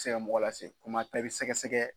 tɛ se ka mɔgɔ lasegin komi pɛɛ pɛ sɛgɛsɛgɛ